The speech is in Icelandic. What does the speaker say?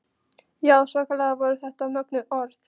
Já, svakalega voru þetta mögnuð orð.